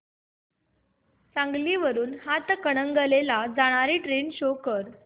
सांगली वरून हातकणंगले ला जाणारी ट्रेन शो कर